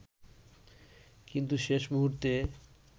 কিন্তু শেষ মুহূর্তে